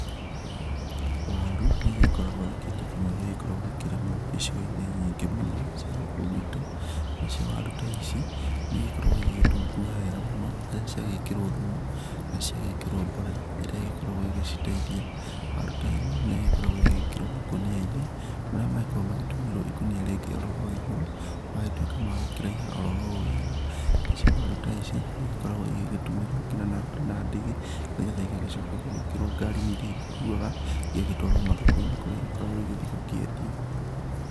Waru, nĩgĩkoragwo arĩ kĩndũ kĩmwe gĩkoragwa gĩkĩrĩmwo icigoinĩ nyingĩ mũno cia gũkũ gwitũ, nacio waru ta ici nĩikoragwa igĩtunguha wega mũno, nacigĩkĩrwa thumu na cigagĩkĩrwa borera iria cĩgĩkoragwa cigigĩteithia, waru ta ĩno nĩkoragwa ĩgĩkĩrwa makunianĩ marĩa magĩkoragwa magĩtũmĩrwa na ikunia rĩngĩ hau igũrũ magagĩtuĩka makũraiha orowega, nacio waru ta ici nĩigĩkoragwa igĩtũmĩrwa nginyagia na ndigi nĩgetha igagĩcoka igagĩkĩrwa ngarinĩ ithii igĩkuagwa ĩgagĩtwarwo mathokoinĩ kũrĩa igĩkoragwo gũthii gũkĩendio .